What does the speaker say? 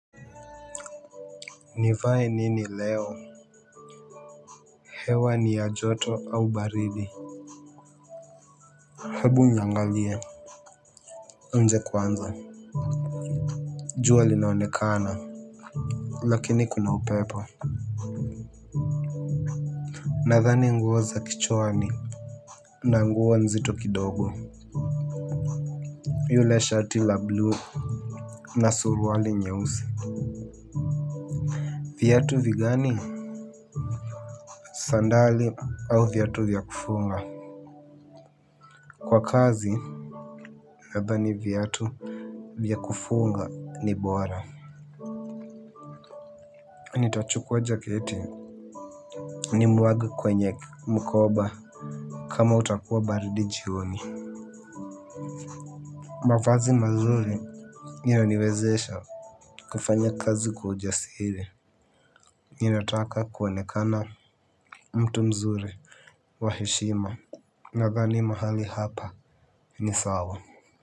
Nivae nini leo? Hewa ni ya joto au baridi? Hebu niangalie nje kwanza. Jua linaonekana, lakini kuna upepo. Nadhani nguo kichwani. Na nguo nzito kidogo. Yule shati la 'blue' na suruwali nyeusi. Viatu vigani? Sandali au viatu vya kufunga. Kwa kazi nadhani viatu vya kufunga ni bora. Nitachukua jaketi, nimwage kwenye mkoba. Kama utakuwa baridi jioni. Mavazi mazuri huniwezesha kufanya kazi kwa ujasiri. Ninataka kuonekana mtu mzuri. Wa heshima. Nadhani mahali hapa ni sawa.